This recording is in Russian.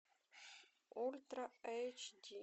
ультра эйч ди